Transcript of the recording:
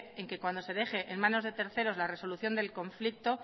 en que cuando se deje en manos de terceros la resolución del conflicto